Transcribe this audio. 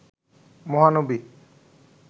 মহানবী